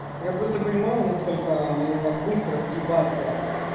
я просто понимаю насколько мне надо быстро съебаться